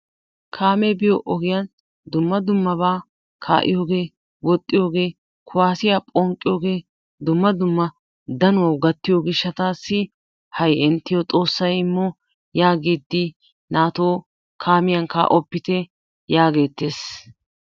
Kaamee biyoo ogiyaan dumm dummaba ka"iyoogee woxxiyoogee kuwaasiyaa phonqqiyoogee dumma dumma danuwaawu gaattiyoo giishshatassi hay inttiyoo xoossay immo yaagidi naatoo kaamiyaan kaa"oppite yaagettees.